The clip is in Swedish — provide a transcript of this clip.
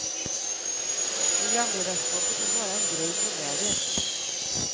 Programledarskapet är bara en grej på vägen.